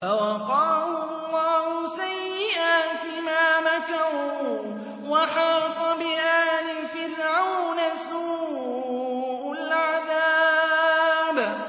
فَوَقَاهُ اللَّهُ سَيِّئَاتِ مَا مَكَرُوا ۖ وَحَاقَ بِآلِ فِرْعَوْنَ سُوءُ الْعَذَابِ